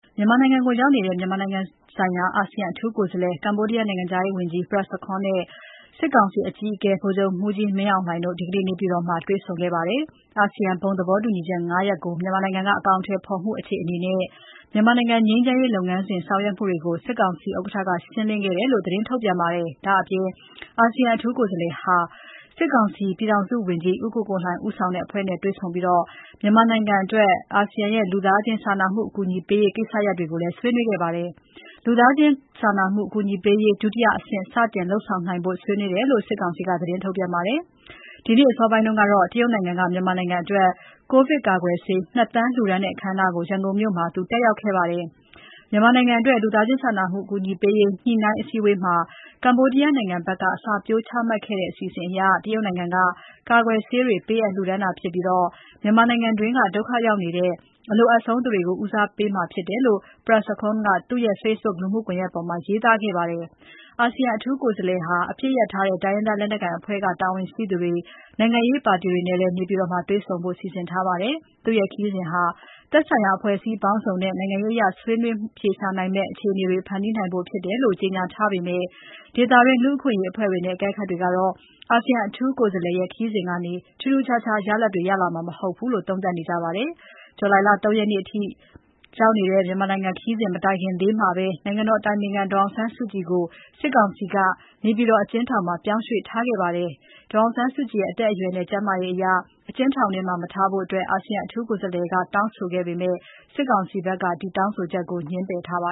မြန်မာနိုင်ငံကို ရောက်နေတဲ့ မြန်မာနိုင်ငံဆိုင်ရာ အာဆီယံ အထူးကိုယ်စားလှယ် ကမ္ဘောဒီးယား နိုင်ငံခြားရေးဝန်ကြီး Prak Sokhonn နဲ့ စစ်ကောင်စီအကြီးအကဲ ဗိုလ်ချုပ်မှူးကြီးမင်းအောင်လှိုင်တို့ ဒီနေ့ နေပြည်တော်မှာ တွေ့ဆုံခဲ့ပါတယ်။ အာဆီယံဘုံသဘောတူညီချက် ၅ ရပ်ကို မြန်မာနိုင်ငံက အကောင်အထည်ဖော်မှုအခြေအနေနဲ့ မြန်မာနိုင်ငံငြိမ်းချမ်းရေးလုပ်ငန်းစဉ်လုပ်ဆောင်မှုတွေကို စစ်ကောင်စီဥက္ကဋ္ဌက ရှင်းလင်းခဲ့တယ်လို့ သတင်းထုတ်ပြန်ပါတယ်။ ဒါ့အပြင် အာဆီယံ အထူးကိုယ်စားလှယ်ဟာ စစ်ကောင်စီ ပြည်ထောင်စုဝန်ကြီး ဦးကိုကိုလှိုင်ဦးဆောင်တဲ့အဖွဲ့နဲ့တွေ့ဆုံပြီး မြန်မာနိုင်ငံအတွက် အာဆီယံလူသားချင်းစာနာကူညီမှုပေးရေးကိစ္စရပ်တွေကိုလည်း ဆွေးနွေးခဲ့ပါတယ်။ လူသားချင်းစာနာမှုအကူအညီပေးရေး ဒုတိယအဆင့် စတင်လုပ်ဆောင်နိုင်ဖို့ ဆွေးနွေးခဲ့ကြတယ်လို့ စစ်ကောင်စီက သတင်းထုတ်ပြန်ပါတယ်။ ဒီနေ့ အစောပိုင်းကတော့ တရုတ်နိုင်ငံက မြန်မာနိုင်ငံအတွက် ကိုဗစ်ကာကွယ်ဆေး ၂ သန်း လှူဒါန်းတဲ့ အခမ်းအနားကို ရန်ကုန်မြို့မှာ ဒီနေ့ တက်ရောက်ခဲ့ပါတယ်။ မြန်မာနိုင်ငံအတွက် လူသားချင်းစာနာမှု အကူအညီပေးရေး ညှိနှိုင်း အစည်းအဝေးမှာ ကမ္ဘာဒီးယားနိုင်ငံဘက်က အစပျိုးချမှတ်ခဲ့တဲ့ အစီအစဉ်အရ တရုတ်နိုင်ငံက ကာကွယ်ဆေးတွေ ပေးအပ်လှူဒါန်းတာဖြစ်ပြီး မြန်မာနိုင်ငံအတွင်းက အတိဒုက္ခရောက်နေတဲ့ အလိုအပ်ဆုံးသူတွေကို ဦးစားပေး ပေးအပ်မှာဖြစ်တဲ့အကြောင်း Prak Sokhonn ကသူ့ရဲ့ Facebook လူမှုကွန်ယက်မှာ ရေးသားထားပါတယ်။ အာဆီယံ အထူးကိုယ်စားလှယ်ဟာ နေပြည်တော်မှာ စစ်ကောင်စီ ခေါင်းဆောင်တွေ၊ အပစ်ရပ်ထားတဲ့ တိုင်းရင်းသား လက်နက်ကိုင်အဖွဲ့က တာဝန်ရှိသူတွေ၊ နိုင်ငံရေးပါတီတွေကို တွေ့ဆုံဖို့ စီစဉ်ထားပါတယ်။ သူ့ရဲ့ခရီးစဉ်ဟာ သက်ဆိုင်ရာ အဖွဲ့အစည်းပေါင်းစုံနဲ့ နိုင်ငံရေးအရ ဆွေးနွေးမှုတွေ အဖြေရှာနိုင်မယ့် အခြေအနေတွေ ဖန်တီးနိုင်ဖို့ ဖြစ်တယ်လို့ ကြေညာထားပေမဲ့ ဒေသတွင်း လူ့အခွင့်အရေးအဖွဲ့တွေနဲ့ အကဲခတ်တွေကတော့ အာဆီယံအထူးကိုယ်စားလှယ်ရဲ့ ခရီးစဉ်ကနေ ထူးထူးခြားခြား ရလာဒ်တွေ ရလာမှာ မဟုတ်ဘူးလို့ သုံးသပ်နေကြပါတယ်။ ဇူလိုင် ၃ ရက်နေ့ အထိ သွားရောက်မယ့် သူ့ရဲ့ ခရီးစဉ်မတိုင်ခင်လေးမှာပဲ နိုင်ငံတော် အတိုင်ပင်ခံ ပုဂ္ဂိုလ် ဒေါ်အောင်ဆန်းစုကြည်ကို နေပြည်တော် အကျဉ်းထောင်ထဲမှာ စစ်ကောင်စီက ပြောင်းရွှေ့ထားခဲ့ပါတယ်။ ဒေါ်အောင်ဆန်းစုကြည်ရဲ့ အသက်အရွယ်နဲ့ ကျန်းမာရေးအရ အကျဉ်းထောင်ထဲမှာ မထားဖို့ အာဆီယံ အထူးကိုယ်စားလှယ် Prak Sokhonn က တောင်းဆိုပေမဲ့ စစ်ကောင်စီဘက်က ဒီ တောင်းဆိုချက်ကို ငြင်းပယ်ထားပါ